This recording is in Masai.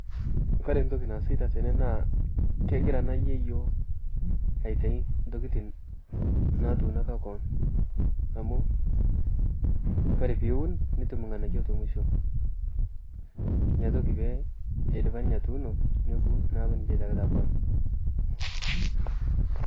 Koree ntoki naasi tene naa kegira ena yieyio aitayu ntokitin naatunoko keon amu Kore piun nitum inganayio temusho, Inatoki pee idipa ninye atuuno neeku ninche eitakita keon .